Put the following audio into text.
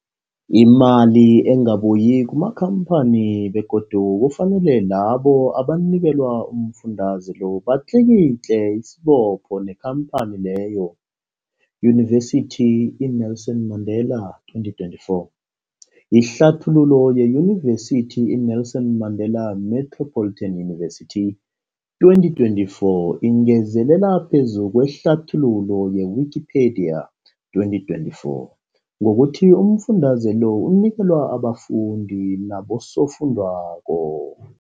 Imali ingabuyi kumakhamphani begodu kufanele labo abanikelwa umfundaze lo batlikitliki isibopho neenkhamphani leyo, Yunivesity i-Nelson Mandela 2024. Ihlathululo yeYunivesithi i-Nelson Mandela Metropolitan University, 2024, ingezelele phezu kwehlathululo ye-Wikipedia, 2024, ngokuthi umfundaze lo unikelwa abafundi nabosofundwakgho.